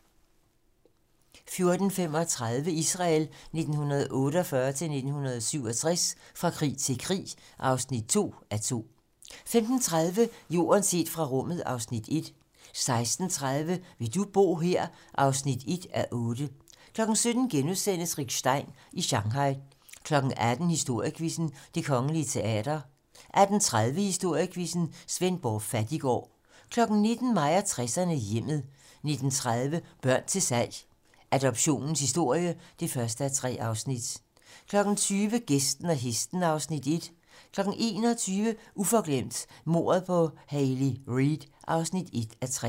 14:35: Israel 1948-1967 - fra krig til krig (2:2) 15:30: Jorden set fra rummet (Afs. 1) 16:30: Vil du bo her? (1:8) 17:00: Rick Stein i Shanghai * 18:00: Historiequizzen: Det Kongelige Teater 18:30: Historiequizzen: Svendborg Fattiggård 19:00: Mig og 60'erne: Hjemmet 19:30: Børn til salg - Adoptionens historie (1:3) 20:00: Gæsten og hesten (Afs. 1) 21:00: Uforglemt: Mordet på Hayley Reid (1:3)